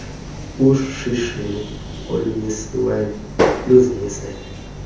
ushishini olumisiweyo luzimisele